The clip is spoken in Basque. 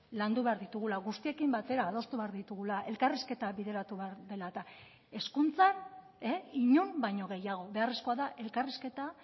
landu behar ditugula guztiekin batera adostu behar ditugula elkarrizketa bideratu behar dela eta hezkuntzan inon baino gehiago beharrezkoa da elkarrizketa